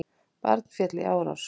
Barn féll í árás